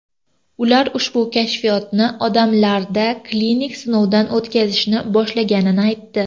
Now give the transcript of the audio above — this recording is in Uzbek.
Ular ushbu kashfiyotni odamlarda klinik sinovdan o‘tkazishni boshlaganini aytdi.